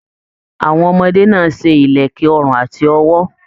Àwọn ọmọdé náà ṣe ìlẹ̀kẹ̀ ọrùn àti ọwọ́.